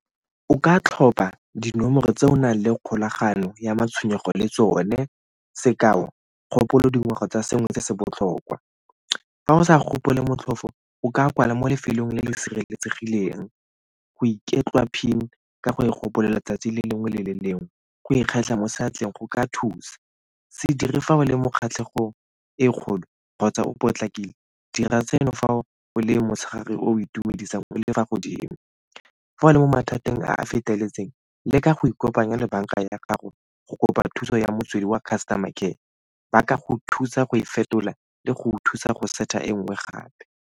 O ka tlhopa dinomoro tse o nang le kgolagano ya matshwenyego le tsone sekao, kgopolo dingwaga tsa sengwe se se botlhokwa. Fa o sa gopole motlhofo o ka kwala mo lefelong le le sireletsegileng go iketlea PIN ka go e gopolelwa letsatsi le lengwe le le lengwe go ikgetlha mo seatleng go ka thusa. Se dire fa o le mo kgatlhegong e kgolo kgotsa o potlakile, dira tseno fa o le o itumedisang o le fa godimo. Fa o le mo mathateng a a feteletseng, leka go ikopanya le banka ya gago go kopa thuso ya motswedi wa customer care, ba ka go thusa go e fetola le go thusa go set-a e nngwe gape.